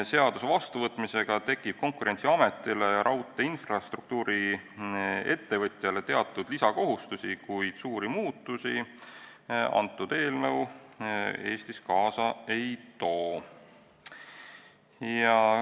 Seaduse vastuvõtmisega tekib Konkurentsiametile ja raudteeinfrastruktuuri-ettevõtjale teatud lisakohustusi, kuid suuri muutusi eelnõu Eestis kaasa ei too.